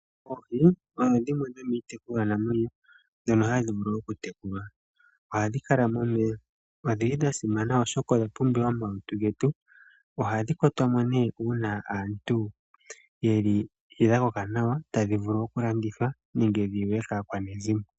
Oohi odho dhimwe dhomiitekulwa namwenyo dhono hadhi vulu okutekulwa. Ohadhi kala momeya, odhili dhasimana oshoka odha pumbiwa momalutu getu. Ohadhi kwatwamo nee uuna aantu yeli dhakoka nawa tadhivulu okuladhithwa nenge dhiliwe kaakwanezimo.